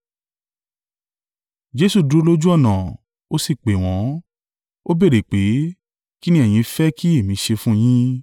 Jesu dúró lójú ọ̀nà, ó sì pè wọ́n, Ó béèrè pé, “Kí ni ẹ̀yin fẹ́ kí èmi ṣe fún yín?”